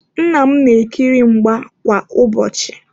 Nna m na-ekiri mgba kwa ụbọchị.